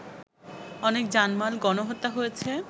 অনেক জানমাল, গণহত্যা হয়েছে